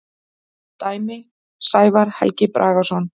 Dæmi: Sævar Helgi Bragason.